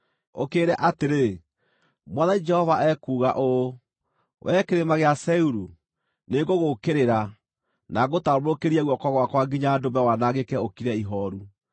ũkĩĩre atĩrĩ: ‘Mwathani Jehova ekuuga ũũ: Wee Kĩrĩma gĩa Seiru, nĩngũgũũkĩrĩra, na ngũtambũrũkĩrie guoko gwakwa nginya ndũme wanangĩke ũkire ihooru.